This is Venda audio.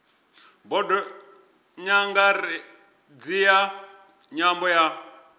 bodo nyangaredzi ya nyambo ya